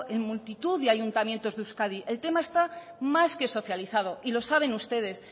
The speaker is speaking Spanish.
en multitud de ayuntamientos de euskadi el tema está más que socializado y lo saben ustedes